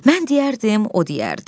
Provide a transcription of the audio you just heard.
Mən deyərdim, o deyərdi.